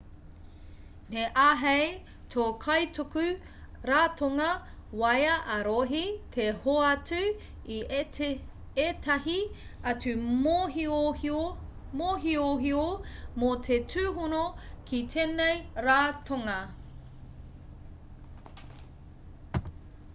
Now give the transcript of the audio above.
me āhei tō kaituku ratonga waea ā-rohe te hoatu i ētahi atu mōhiohio mō te tūhono ki tēnei ratonga